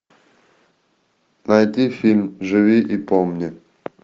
найди фильм живи и помни